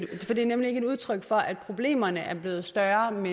er nemlig ikke udtryk for at problemerne er blevet større men